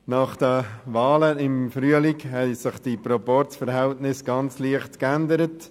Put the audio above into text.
Nach den Wahlen im Frühling haben sich die Proporzverhältnisse ganz leicht geändert.